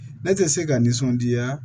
Ne tɛ se ka nisɔndiya